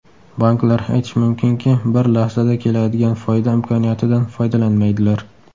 Banklar, aytish mumkinki, bir lahzada keladigan foyda imkoniyatidan foydalanmaydilar.